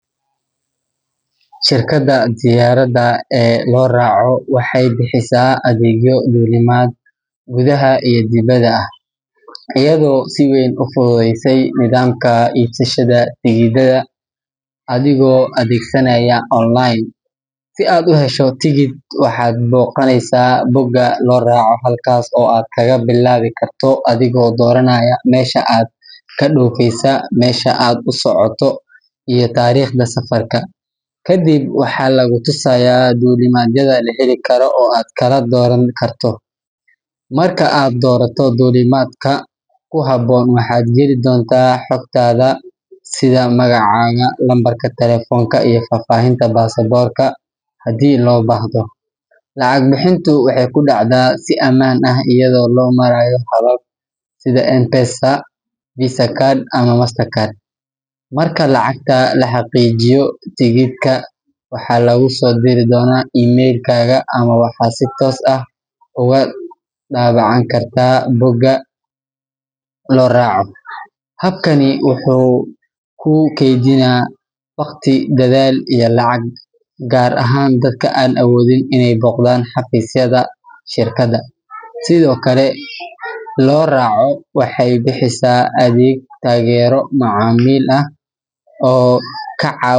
Shirkadda diyaaradaha ee Loraco waxay bixisaa adeegyo duulimaad gudaha iyo dibadda ah, iyadoo si weyn u fududeysay nidaamka iibsashada tigidhada adigoo adeegsanaya online. Si aad u hesho tigidh, waxaad booqanaysaa bogga Loraco, halkaas oo aad kaga bilaabi karto adigoo dooranaya meesha aad ka dhoofayso, meesha aad u socoto, iyo taariikhda safarka. Kadib, waxaa lagu tusayaa duulimaadyada la heli karo oo aad kala dooran karto. Marka aad doorato duulimaadka ku habboon, waxaad geli doontaa xogtaada sida magacaaga, lambarka taleefanka, iyo faahfaahinta baasaboorka haddii loo baahdo. Lacag bixintu waxay ku dhacdaa si ammaan ah iyadoo loo marayo habab sida Mpesa, Visa card ama MasterCard. Marka lacagta la xaqiijiyo, tigidhka waxaa laguu soo diri doonaa email-kaaga ama waxaad si toos ah uga daabacan kartaa bogga Loraco. Habkani wuxuu kuu keydiyaa waqti, dadaal iyo lacag, gaar ahaan dadka aan awoodin inay booqdaan xafiisyada shirkadda. Sidoo kale, Loraco waxay bixisaa adeeg taageero macaamiil ah oo kaa caawin.